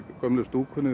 gömlu stúkunni